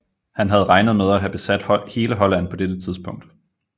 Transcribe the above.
Han havde regnet med at have besat hele Holland på dette tidspunkt